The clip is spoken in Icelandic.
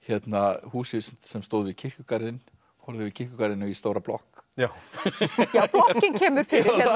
húsi sem stóð við kirkjugarðinn horfði yfir kirkjugarðinn og í stóra blokk já blokkin kemur fyrir